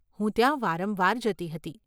હું ત્યાં વારંવાર જતી હતી.